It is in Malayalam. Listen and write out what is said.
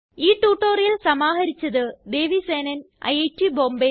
ഈ ട്യൂട്ടോറിയൽ സമാഹരിച്ചത് ദേവി സേനൻ ഐറ്റ് ബോംബേ